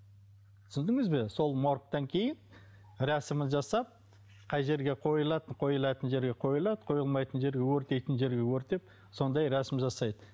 түсіндіңіз бе сол моргтан кейін рәсімін жасап қай жерге қойылады қойылатын жерге қойылады қойылмайтын жерге өртейтін жерге өртеп сондай рәсім жасайды